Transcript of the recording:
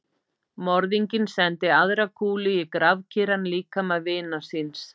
Morðinginn sendi aðra kúlu í grafkyrran líkama vinar síns.